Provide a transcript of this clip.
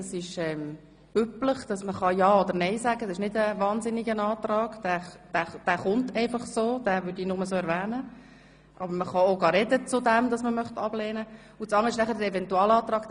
2. Eventualantrag: Antrag auf obligatorische Volksabstimmung nach Artikel 61 KV.